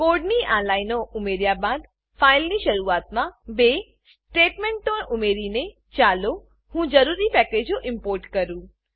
કોડની આ લાઈનો ઉમેર્યા બાદ ફાઈલની શરૂઆતમાં બે સ્ટેટમેંટો ઉમેરીને ચાલો હું જરૂરી પેકેજો ઈમ્પોર્ટ કરું